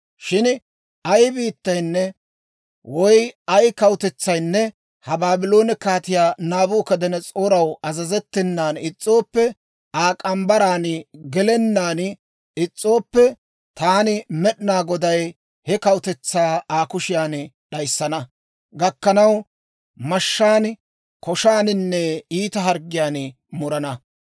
«‹ «Shin ay biittaynne woy ay kawutetsaynne ha Baabloone Kaatiyaa Naabukadanas'ooraw azazettenan is's'ooppe Aa morgge mitsaan gelennaan is's'ooppe, taani Med'inaa Goday he kawutetsaa Aa kushiyan d'ayissana gakkanaw, mashshaan, koshaaninne iita harggiyaan murana.